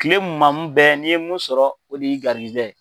Kile mumamu bɛɛ n'i ye mun sɔrɔ o de y'i gɛrizigɛ ye.